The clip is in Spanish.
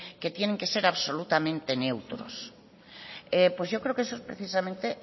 que tienen que ser absolutamente neutros pues yo creo que eso es precisamente